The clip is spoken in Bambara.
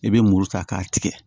I bɛ muru ta k'a tigɛ